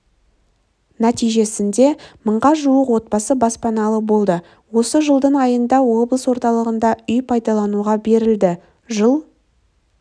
нәтижесінде мыңға жуық отбасы баспаналы болды осы жылдың айында облыс орталығында үй пайдалануға берілді жыл